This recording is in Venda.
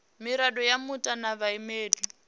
mirado ya muta na vhaimeleli